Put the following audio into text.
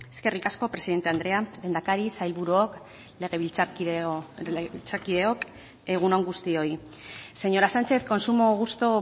eskerrik asko presidente andrea lehendakari sailburuok legebiltzarkideok egun on guztioi señora sánchez con sumo gusto